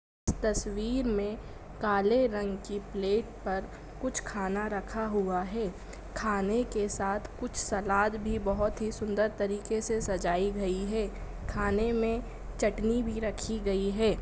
तस्वीर में काले रंग की प्लेट पर कुछ खाना रखा हुआ है खाने के साथ कुछ सलाद भी बहुत ही सुंदर तरीके से सजाई गई है खाने में चटनी भी रखी गई है।